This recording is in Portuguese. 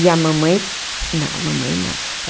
E a mamãe... Não, a mamãe não.